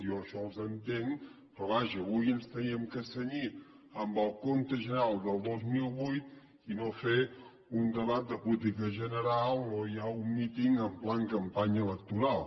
jo en això els entenc però vaja avui ens havíem de cenyir al compte general del dos mil vuit i no fer un debat de política general o ja un míting en pla campanya electoral